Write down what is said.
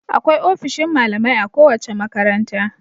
Akwai ofishin malamai a kowace makaranta.